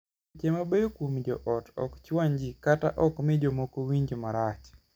Weche mabeyo kuom joot ok chwany jii kata ok mii jomoko winj marach.